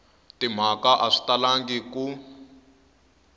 timhaka a swi talangi ku